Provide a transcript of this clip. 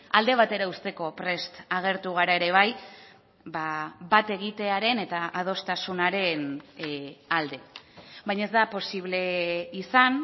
alde batera uzteko prest agertu gara ere bai bat egitearen eta adostasunaren alde baina ez da posible izan